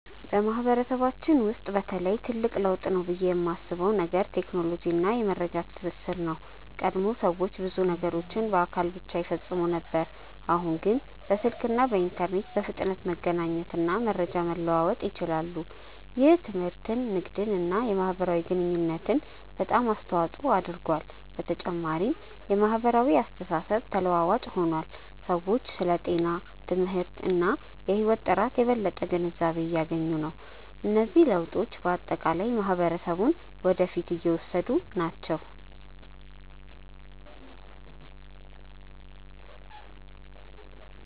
በማህበረሰባችን ውስጥ በተለይ ትልቅ ለውጥ ነው ብዬ የማስበው ነገር ቴክኖሎጂ እና የመረጃ ትስስር ነው። ቀድሞ ሰዎች ብዙ ነገሮችን በአካል ብቻ ይፈጽሙ ነበር፣ አሁን ግን በስልክ እና በኢንተርኔት በፍጥነት መገናኘት እና መረጃ መለዋወጥ ይችላሉ። ይህ ትምህርትን፣ ንግድን እና የማህበራዊ ግንኙነትን በጣም አስተዋፅኦ አድርጓል። በተጨማሪም የማህበራዊ አስተሳሰብ ተለዋዋጭ ሆኗል፤ ሰዎች ስለ ጤና፣ ትምህርት እና የህይወት ጥራት የበለጠ ግንዛቤ እያገኙ ናቸው። እነዚህ ለውጦች በአጠቃላይ ማህበረሰቡን ወደ ፊት እየወሰዱ ናቸው።